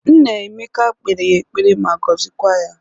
Nna Emeka kpere ya ekpere ma gozikwa ya